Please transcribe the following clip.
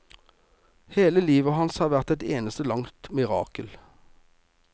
Hele livet hans har vært et eneste langt mirakel.